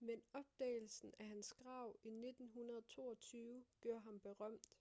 men opdagelsen af hans grav i 1922 gjorde ham berømt